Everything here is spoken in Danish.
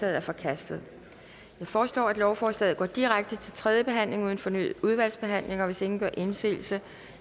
er forkastet jeg foreslår at lovforslaget går direkte til tredje behandling uden fornyet udvalgsbehandling hvis ingen gør indsigelse